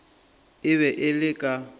e be e le ka